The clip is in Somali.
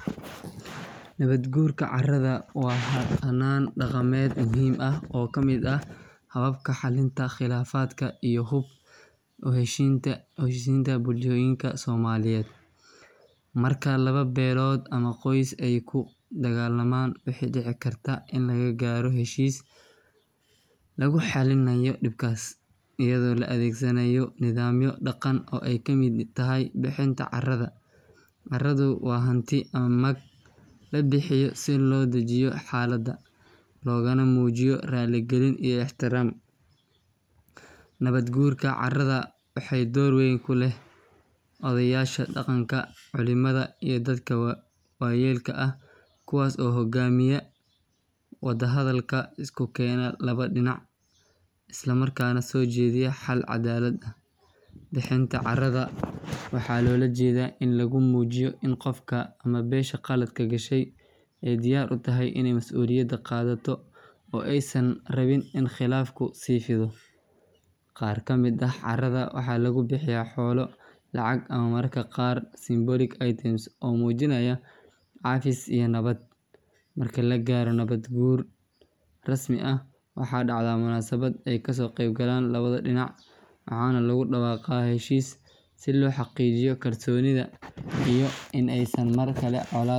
Nabad guurka caradha waa hanaan daqameed muhiim ah oo kamid ah xalinta qilaafadka iyo xub heshinta ogeyisinta bulshooyinka somaliyeed. Marka laba belood ama qoys ey kudigaalaman wuxu dicikarta in laga gaaro heshiis laguxalinaayo dibkas iyado laadhegasanayo nidhaamyo daqam oo ey kamid tahy bixinta caradha. Caradu waa hanti ama mag labixiyo si loo dajiyo xaalada logana muujiyo raali galin iyo ixtiraam. Nabad guurka caradha waxaa door weyn kuleh odheyasha daqanka colimada iyo dadka waayelka ah kuwas oo hogaamiya wada hadhalka iskukeena laba dinac islamarkaa neh sojeediya xal cadaalad. Bixinta caradha waxaa loolajeeda in lagumuujiyo in qofka ama beesha qaladka qashey ey diyaar utahy ini masuuliyada qaadhato oo ey San rabin in qilaafu sii fidho. Qaar kamid ah caradha waxaa lagubixiya xoolo lacag ama mararka qaar symbolic items oo muujinaya cafis iyo nabad. Marka lagaaro nabad guur rasmi ah waxaa dacda munaasabada ey kasooqeyb galaan labada dinac waxana lagudawaqaa heshiis si loo xaqiijiyi kalsonidhu iyo in ey markale ccolaad jirin.